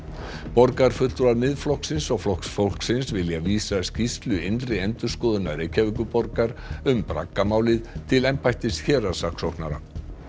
borgarfulltrúar Miðflokksins og Flokks fólksins vilja vísa skýrslu innri endurskoðunar Reykjavíkurborgar um braggamálið til embættis héraðssaksóknara